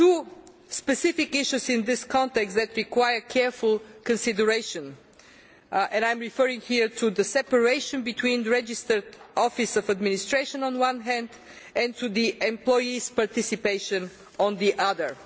There are two specific issues in this context that require careful consideration. I am referring here to the separation between a registered office of administration on the one hand and to employees' participation on the other.